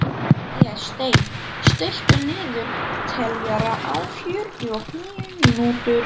Vésteinn, stilltu niðurteljara á fjörutíu og níu mínútur.